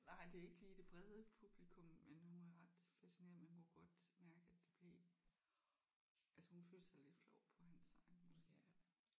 Nej det er ikke lige det brede publikum men hun var ret fascineret man kunne godt mærke at det blev at hun følte sig lidt flov på hans vegne måske